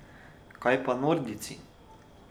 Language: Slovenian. Kaj pa nordijci?